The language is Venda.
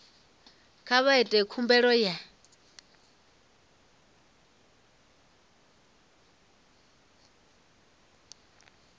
kha vha ite khumbelo ya